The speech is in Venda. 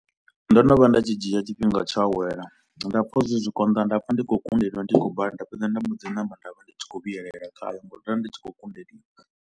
Ndo no vha nda tshi dzhia tshifhinga tsho awela nda pfha uri zwi zwi konḓa nda pfha ndi khou kundelwa ndi khou bala nda fhedza nda mbo dzi namba nda vha ndi tshi khou vhuyelela khayo ngauri ndo vha ndi tshi khou kundeliwa.